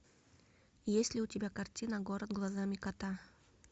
есть ли у тебя картина город глазами кота